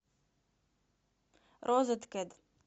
розеткед